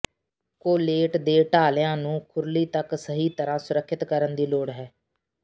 correlate ਦੇ ਢਾਲਿਆਂ ਨੂੰ ਖੁਰਲੀ ਤੱਕ ਸਹੀ ਤਰ੍ਹਾਂ ਸੁਰੱਖਿਅਤ ਕਰਨ ਦੀ ਲੋੜ ਹੈ